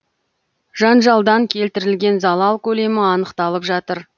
жанжалдан келтірілген залал көлемі анықталып жатыр